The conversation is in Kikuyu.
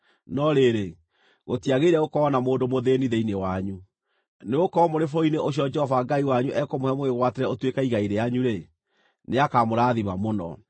No rĩrĩ, gũtiagĩrĩire gũkorwo na mũndũ mũthĩĩni thĩinĩ wanyu, nĩgũkorwo mũrĩ bũrũri-inĩ ũcio Jehova Ngai wanyu ekũmũhe mũwĩgwatĩre ũtuĩke igai rĩanyu-rĩ, nĩakamũrathima mũno,